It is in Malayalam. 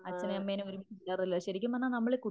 അച്ഛനേം അമ്മേനേം ഒരുമിച്ച് കിട്ടാറില്ലല്ലോ ശരിക്കും പറഞ്ഞാൽ നമ്മള്